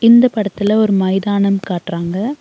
இந்த படத்துல ஒரு மைதானம் காட்றாங்க.